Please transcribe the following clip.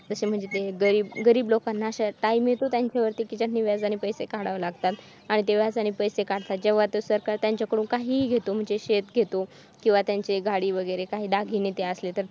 तसे म्हणजे ते गरीब time येतो त्यांच्यावर ती कि व्याजाने पैसे काढावे लागतात आणि ते व्याजाने पैसे काढतात तेव्हा तो सरकार व्याजाने काहीही घेतो शेत वगैरे किंवा गाडी वगैरे काही दागिने ते असले तर